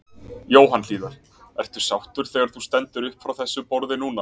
Jóhann Hlíðar: Ertu sáttur þegar þú stendur upp frá þessu borði núna?